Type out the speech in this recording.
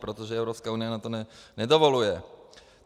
Protože Evropská unie nám to nedovoluje.